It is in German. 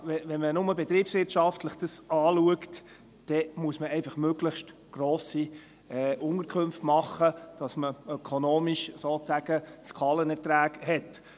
Wenn man dies nur betriebswirtschaftlich betrachtet, muss man einfach möglichst grosse Unterkünfte machen, damit man ökonomisch sozusagen Skalenerträge hat.